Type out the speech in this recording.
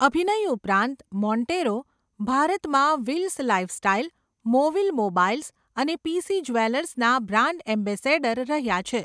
અભિનય ઉપરાંત, મોન્ટેરો ભારતમાં વિલ્સ લાઈફસ્ટાઈલ, મોવિલ મોબાઈલ્સ અને પી.સી. જ્વેલર્સના બ્રાન્ડ એમ્બેસેડર રહ્યા છે.